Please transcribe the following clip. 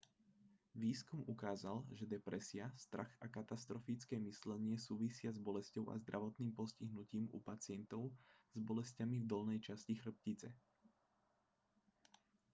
výskum ukázal že depresia strach a katastrofické myslenie súvisia s bolesťou a zdravotným postihnutím u pacientov s bolesťami v dolnej časti chrbtice